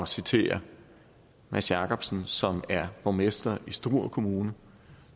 citere mads jakobsen som er borgmester i struer kommune